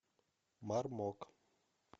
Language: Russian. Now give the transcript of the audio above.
мармок